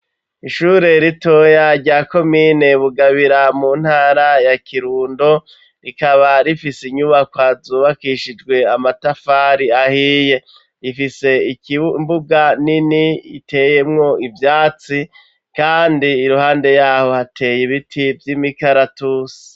Ishure ritoya rya komine Bugabira mu ntara ya Kirundo ,rikaba rifise inyubako zubakishijwe amatafari ahiye, ifise imbuga nini iteyemwo ivyatsi, kandi iruhande yaho ,hateye ibiti vy'imikaratusi.